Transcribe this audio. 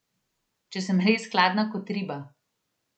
Če sem res hladna kot riba?